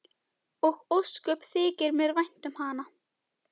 Og ósköp þykir mér vænt um hana.